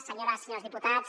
senyores i senyors diputats